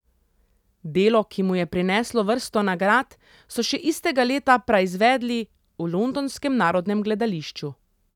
Delo, ki mu je prineslo vrsto nagrad, so še istega leta praizvedli v londonskem Narodnem gledališču.